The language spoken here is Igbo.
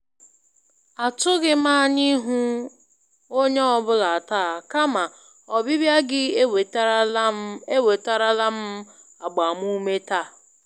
Atụghị m anya ịhụ onye ọ bụla taa, kama ọbịbịa gị ewetarala m ewetarala m agbamume taa.